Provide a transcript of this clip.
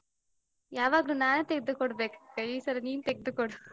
ಯಾವಾಗ್ಲೂ ನಾನೇ ತೆಗ್ದುಕೊಡ್ಬೇಕಾ ಈ ಸರಿ ನೀನ್ ತೆಗ್ದುಕೊಡು.